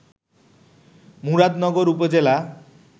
মুরাদনগর উপজেলা